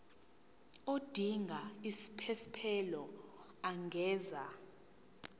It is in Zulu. odinga isiphesphelo angenza